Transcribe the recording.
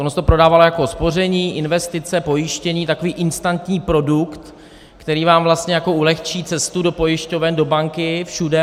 Ono se to prodávalo jako spoření, investice, pojištění, takový instantní produkt, který vám vlastně jako ulehčí cestu do pojišťoven, do banky, všude.